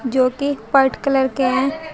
जोकि white colour के हैं।